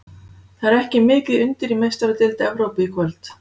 Það er ekki mikið undir í Meistaradeild Evrópu í kvöld.